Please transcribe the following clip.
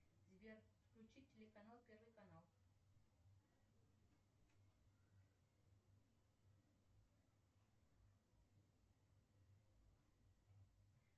сбер включи телеканал первый канал